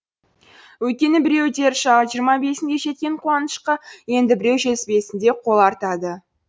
өйткені біреу дер шағы жиырма бесінде жеткен қуанышқа енді біреу жетпіс бесінде қол артады